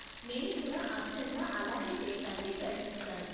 నేను కూడా అచ్చంగా అలాగే చేయటానికి ప్రయత్నిస్తాను.